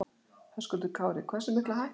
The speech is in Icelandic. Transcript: Höskuldur Kári: Hversu mikla hækkun?